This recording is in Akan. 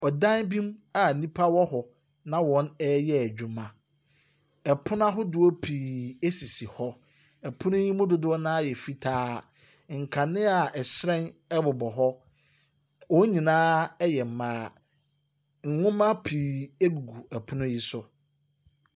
Dan bi mu a nnipa wɔ hɔ, na wɔreyɛ adwuma. Pono ahodoɔ pii sisi hɔ. Pono yi mu dodoɔ no ara yɛ fitaa. Nkanea a ɛhyerɛn bobɔ hɔ. Wɔn nyinaa yɛ mmaa. Nwoma pii gugu pono yi so.